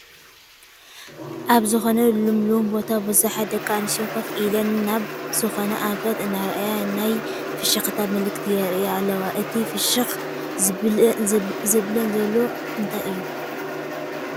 ኣብ ዝኾነ ልምሉም ቦታ ብዙሓት ደቂ ኣነስትዮ ኮፍ ኢለን ናብ ዝኾነ ኣንፈት እናረኣየ ናይ ፍሽክታ ምልክት የርእያ ኣለዋ፡፡ እቲ ፍሽክ ዘብለን ዘሎ እንታይ እዩ?